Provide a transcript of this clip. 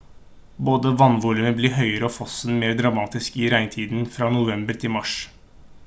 både vannvolumet blir høyere og fossen mer dramatisk i regntiden fra november til mars